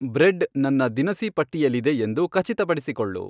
bread ನನ್ನ ದಿನಸಿ ಪಟ್ಟಿಯಲ್ಲಿದೆ ಎಂದು ಖಚಿತಪಡಿಸಿಕೊಳ್ಳು